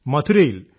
മഥുരയിൽ